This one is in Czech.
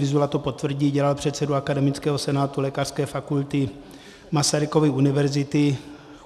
Vyzula to potvrdí, dělal předsedu Akademického senátu Lékařské fakulty Masarykovy univerzity.